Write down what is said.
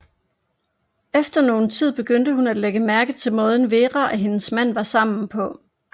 Efter noget tid begyndte hun at lægge mærke til måden Vera og hendes mand var sammen på